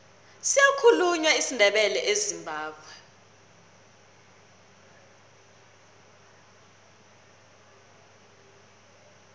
siyakhulunywa isindebele ezimbabwe